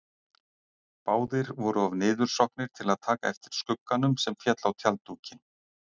Báðir voru of niðursokknir til að taka eftir skugganum sem féll á tjalddúkinn.